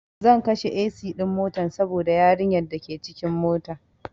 Zan kashe AC ɗin motan saboda yarin yar dake cikin mota